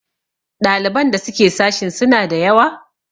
ɗaliban da suke sashin suna da yawa?